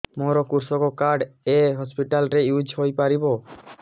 ମୋର କୃଷକ କାର୍ଡ ଏ ହସପିଟାଲ ରେ ୟୁଜ଼ ହୋଇପାରିବ